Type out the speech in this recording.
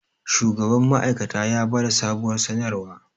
shugaban ma'aikata ya ba da sabuwar sanarwa